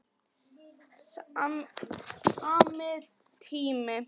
Sami tími.